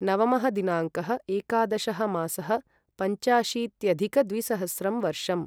नवमः दिनाङ्कः एकादशः मासः पञ्चाशीत्यधिकद्विसहस्रं वर्षम्